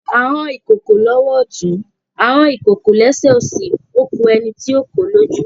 A hán ìkokò lọ́wọ́ ọ̀tún, a hán ìkokò lẹ́sẹ̀ òsì, ó ku ẹni tí yóò kò ó lójú.